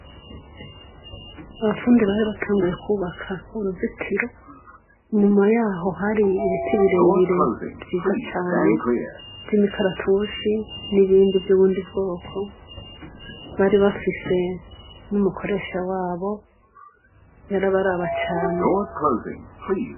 Abafundi bari batanguye kwubaka uruzitiro, inyuma yaho hari ibiti birebire vyiza cane vy'imikaratusi n'ibindi vy'ubundi bwoko, bari bafise n'umukoresha wabo, yarabaraba cane.